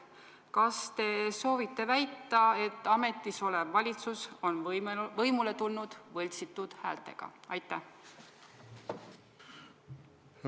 Kas te soovite väita, et ametis olev valitsus on võimule tulnud võltsitud häältega?